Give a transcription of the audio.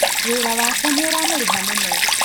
Wĩra wake nĩ ũramũrĩha mũno